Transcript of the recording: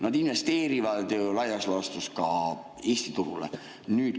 Nad investeerivad laias laastus ju ka Eesti turule.